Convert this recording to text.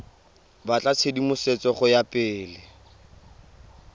batla tshedimosetso go ya pele